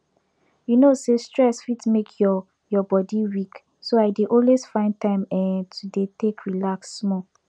you know say stress fit make your your body weak so i dey always find time eh to dey take relax small